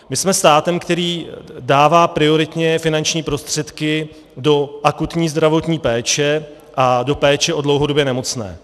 My jsme státem, který dává prioritně finanční prostředky do akutní zdravotní péče a do péče o dlouhodobě nemocné.